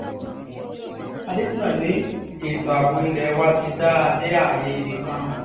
àdéṣínà ni ètò ààbò ilé wa ti dáa dé ààyè ibì kan